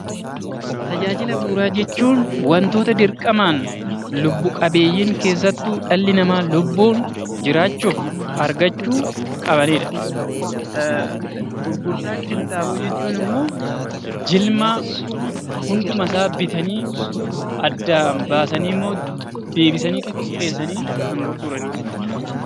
Tajaajila bu'uuraa jechuun waantota dirqamaan lubbu-qabeeyyiin keessattuu dhalli namaa lubbuun jiraachuuf argachuu qabanidha. Gurgurtaa qinxaaboo jechuun ammoo jimlaa, hundumasaa bitanii addaan baasaniimmoo deebisanii xixiqqeessanii kan gurguranidha.